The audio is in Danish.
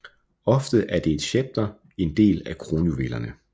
Ofte er et scepter en del af kronjuvelerne